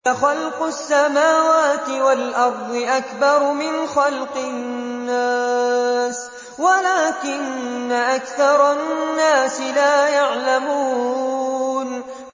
لَخَلْقُ السَّمَاوَاتِ وَالْأَرْضِ أَكْبَرُ مِنْ خَلْقِ النَّاسِ وَلَٰكِنَّ أَكْثَرَ النَّاسِ لَا يَعْلَمُونَ